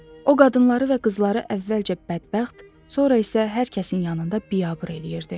O qadınları və qızları əvvəlcə bədbəxt, sonra isə hər kəsin yanında biabır eləyirdi.